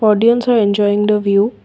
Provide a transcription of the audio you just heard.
audience are enjoying the view.